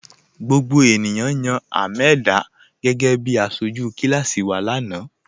Gbogbo ènìyàn yan Hameedah gẹgẹ̀bí àṣọju kilasi wa lana